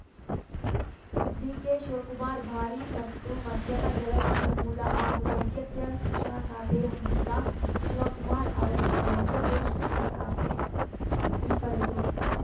ಡಿಕೆಶಿವಕುಮಾರ್‌ ಭಾರಿ ಮತ್ತು ಮಧ್ಯಮ ಜಲಸಂಪನ್ಮೂಲ ಹಾಗೂ ವೈದ್ಯಕೀಯ ಶಿಕ್ಷಣ ಖಾತೆ ಹೊಂದಿದ್ದ ಶಿವಕುಮಾರ್‌ ಅವರಿಂದ ವೈದ್ಯಕೀಯ ಶಿಕ್ಷಣ ಖಾತೆ ಹಿಂಪಡೆದು